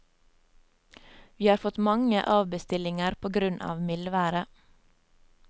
Vi har fått mange avbestillinger på grunn av mildværet.